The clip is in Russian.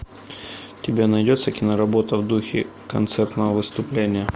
у тебя найдется киноработа в духе концертного выступления